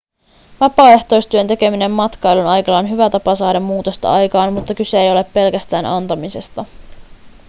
vapaaehtoistyön tekeminen matkailun aikana on hyvä tapa saada muutosta aikaan mutta kyse ei ole pelkästään antamisesta